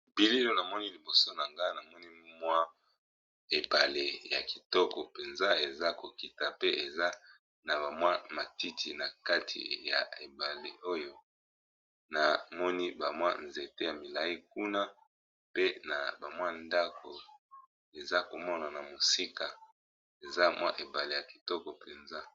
Na bilili namoni liboso Nagai MWA ebale ya kitoko peza esa kokita pee eza na matiti